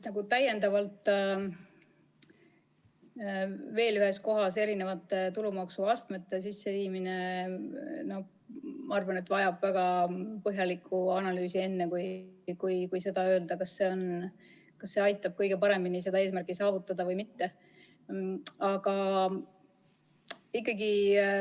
Ma arvan, et veel ühes kohas tulumaksuastmete sisseviimine vajab väga põhjalikku analüüsi, enne kui saab öelda, kas see aitab kõige paremini eesmärki saavutada või mitte.